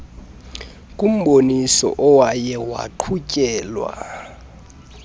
kumboniso owaye waqhutyelwa